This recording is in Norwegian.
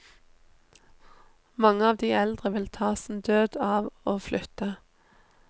Mange av de eldre vil ta sin død av å flytte.